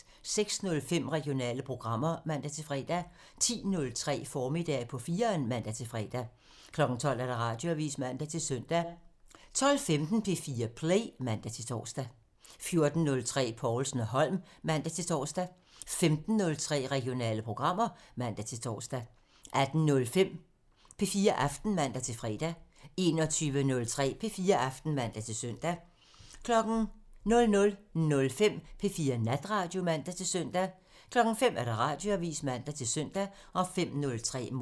06:05: Regionale programmer (man-fre) 10:03: Formiddag på 4'eren (man-fre) 12:00: Radioavisen (man-søn) 12:15: P4 Play (man-tor) 14:03: Povlsen & Holm (man-tor) 15:03: Regionale programmer (man-tor) 18:05: P4 Aften (man-fre) 21:03: P4 Aften (man-søn) 00:05: P4 Natradio (man-søn) 05:00: Radioavisen (man-søn)